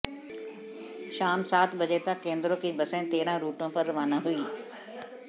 शाम सात बजे तक केंद्रों की बसें तेरह रूटों पर रवाना हुई